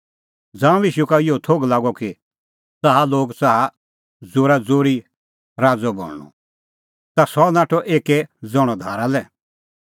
ज़ांऊं ईशू का इहअ थोघ लागअ कि च़ाहा लोग च़ाहा तेऊ ज़ोराज़ोरी राज़अ बणांणअ ता सह नाठअ एक्कै ज़ण्हअ धारा लै